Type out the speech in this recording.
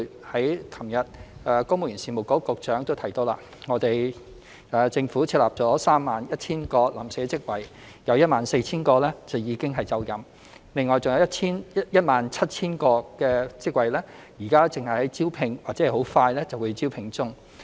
昨天，公務員事務局局長已提及，政府設立了 31,000 個臨時職位，其中 14,000 個已經就任，而餘下 17,000 個職位現正進行招聘或快將進行招聘。